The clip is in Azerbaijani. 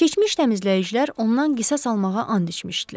Keçmiş təmizləyicilər ondan qisas almağa and içmişdilər.